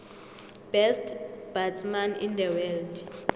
best batsman in the world